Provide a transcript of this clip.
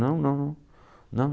Não, não, não.